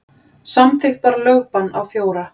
Samþykkt var lögbann á fjóra.